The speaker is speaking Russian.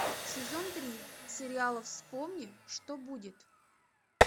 сезон три сериала вспомни что будет